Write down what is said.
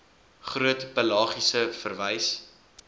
groot pelagies verwys